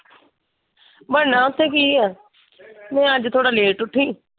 ਬਣਨਾ ਉੱਥੇ ਕੀ ਆ, ਮੈਂ ਅੱਜ ਥੋੜਾ ਲੇਟ ਉੱਠੀ।